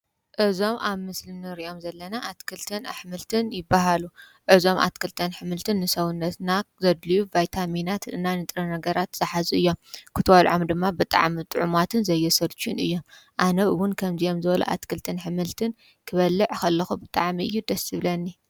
እዞም ኣብ ምስሊ ንሪኦም ዘለና ኣትክልትን ኣሕምልትን ይበሃል፤ እዞም ኣትክልትን ኣሕምልትን ንሰዉነትና ዘድልዩ ቫይታሚናትን እና ንጥረ-ነገራት ዝሓዙ እዮም ፤ክትበልዕም ድማ ብጣዕሚ ጥዑማትን ዘየሰልቹውን እዮም ፤ኣነ እዉን ከምዚኦም ዝበሉ ኣትክልትን ኣሕምልትን ክበልዕ ከለኩ ብጣዕሚ እዩ ደስ ዝብለኒ።